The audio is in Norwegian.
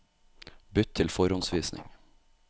Bytt til forhåndsvisning